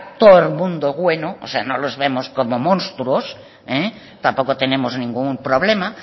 todo el mundo es bueno o sea no los vemos como monstruos tampoco tenemos ningún problema